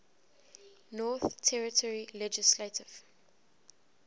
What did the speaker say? northern territory legislative